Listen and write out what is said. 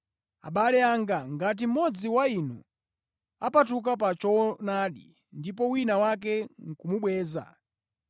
Abale anga, ngati mmodzi wa inu apatuka pa choonadi ndipo wina wake ndi kumubweza,